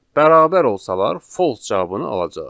Bərabər olsalar false cavabını alacağıq.